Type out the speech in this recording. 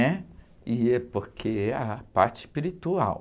né? E é porque é a parte espiritual.